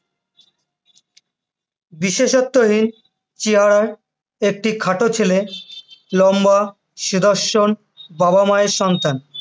বিশেষত্বহীন চেহারার একটি খাটো ছেলে লম্বা, সুদর্শন বাবা মায়ের সন্তান,